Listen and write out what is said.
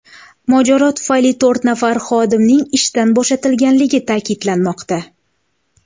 Mojaro tufayli to‘rt nafar xodimning ishdan bo‘shatilganligi ta’kidlanmoqda.